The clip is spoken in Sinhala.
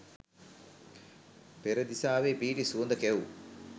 පෙරදිසාවේ පිහිටි සුවඳ කැවූ